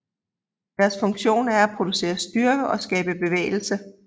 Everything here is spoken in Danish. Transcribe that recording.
Deres funktion er at producere styrke og skabe bevægelse